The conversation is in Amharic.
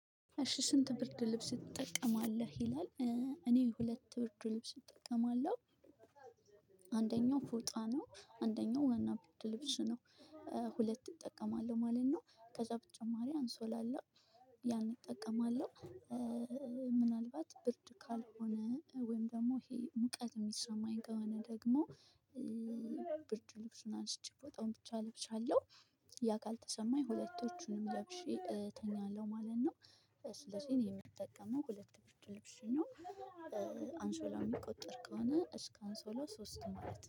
እሺ ስንት ብርድ ልብስ ትጠቀማለህ ይላል? እኔ ሁለት ብርድ ልብስ እጠቀማለሁ። አንደኛው ፎጣ ነው አንደኛው ዋና ብርድ ልብስ ነው። ሁለት እጠቀማለሁ ማለት ነው ከዛ በተጨማሪ አንሶላ አለ ያን እጠቀማለሁ። ምናልባት ብርድ ካልሆነ ወይም ደግሞ ይሄ ሙቀት የሚሰማኝ ከሆነ ደግሞ ብርድ ልብሱን አንስቼ ቦታውን ብቻ እለብሳለሁ። ያ ካልተሰማኝ ሁለቶቹንም ለብሼ እተኛለሁ ማለት ነው። ስለዚህ እኔ የምጠቀመው ሁለት ብርድ ልብስ ነው። አንሶላ የሚቆጠር ከሆነ እስከ አንሶላው ሶስት ማለት